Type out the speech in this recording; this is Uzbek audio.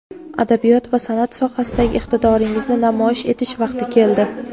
adabiyot va sanʼat sohasidagi iqtidoringizni namoyish etish vaqti keldi.